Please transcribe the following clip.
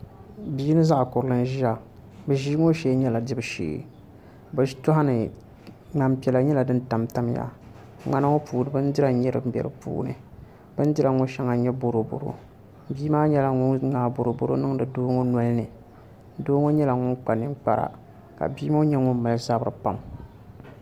Bia mini zaɣ kurili n ʒiya bi ʒii ŋo shee nyɛla dibu shee bi tooni ŋmani piɛla nyɛla din tamtamya ŋmana ŋo puuni bindira n nyɛ din bɛ di puuni bindira ŋo puuni shɛli n nyɛ boroboro bia maa nyɛla ŋun ŋmaai boro boro ŋo niŋdi doo ŋo nolini doo ŋo nyɛla ŋun kpa ninkpara ka bia ŋo nyɛ ŋun mali zabiri pam